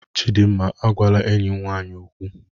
Chidinma, agwala enyim nwanyi okwu!